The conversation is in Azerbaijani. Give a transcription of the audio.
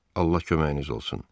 Allah köməyiniz olsun.